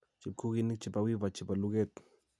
chepkuginik che ba wiva che bo luget